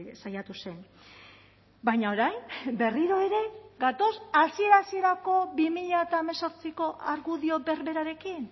saiatu zen baina orain berriro ere gatoz hasiera hasierako bi mila hemezortziko argudio berberarekin